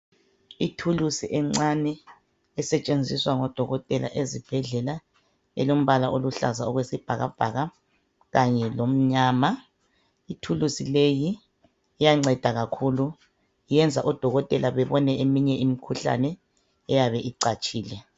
Ithulusi encane esetshenziswa ngodokotela esibhedlela elombala oluhlaza okwesibhakabhaka kanye lomnyama. Ithulusi leyi iyanceda kakhulu. Iyenza odokotela bebone eminye imikhuhlane eyabe icatshile.